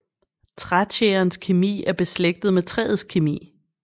Trætjærens kemi er beslægtet med træets kemi